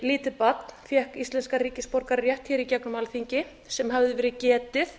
lítið barn fékk íslenskan ríkisborgararétt hér í gegnum alþingi sem hafði verið getið